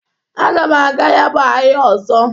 Aga m aga ya bụ ahịa ọzọ.